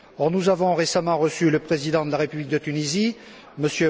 Nous avons récemment reçu le président de la République de Tunisie, M.